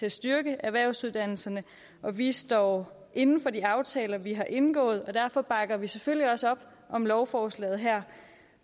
at styrke erhvervsuddannelserne og vi står inde for de aftaler vi har indgået og derfor bakker vi selvfølgelig også op om lovforslaget her